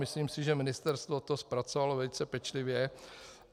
Myslím si, že ministerstvo to zpracovalo velice pečlivě.